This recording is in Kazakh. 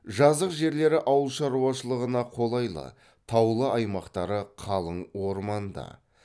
жазық жерлері ауылшаруашылығына қолайлы таулы аймақтары қалың орманды